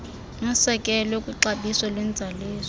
nosekelwe kwixabiso lwenzaliso